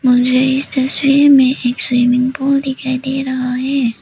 मुझे इस तस्वीर में एक स्विमिंग पूल दिखाई दे रहा है।